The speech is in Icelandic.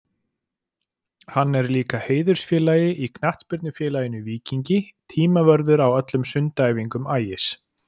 Hann er líka heiðursfélagi í knattspyrnufélaginu Víkingi, tímavörður á öllum sundæfingum Ægis.